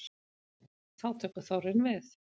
Þá tekur þorrinn við.